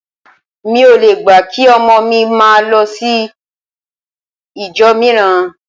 Mi ò le gbà kí ọmọ mi máa lọ sí ìjọ mìíràn